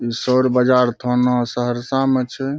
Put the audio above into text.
इ सौर बाजार थाना सहरसा मे छै।